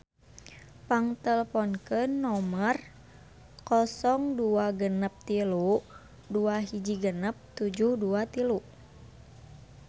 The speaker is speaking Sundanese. Pang teleponkeun nomer 0263 216723